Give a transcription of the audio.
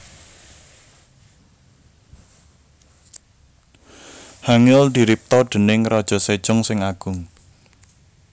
Hangeul diripta déning Raja Sejong sing Agung